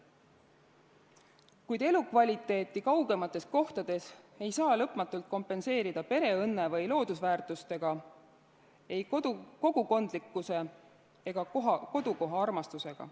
Kehva elukvaliteeti kaugemates kohtades ei saa lõpmatult kompenseerida pereõnne või loodusväärtustega, kogukondlikkuse ega kodukohaarmastusega.